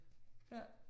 Ja